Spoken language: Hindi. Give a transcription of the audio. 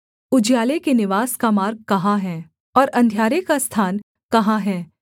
उजियाले के निवास का मार्ग कहाँ है और अंधियारे का स्थान कहाँ है